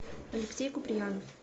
алексей куприянов